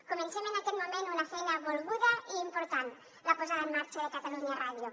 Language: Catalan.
comencem en aquest moment una feina volguda i important la posada en marxa de catalunya ràdio